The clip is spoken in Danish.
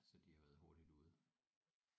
Så de har været hurtigt ude